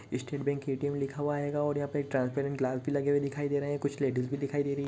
State bank ATM लिखा हुआ है और यहाँ पर ट्रांसपेरेंट ग्लास भी लगे हुए दिखाई दे रही हैं कुछ लेडीज भी दिखाई दे रही।